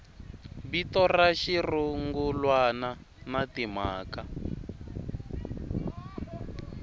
vito ra xirungulwana na timhaka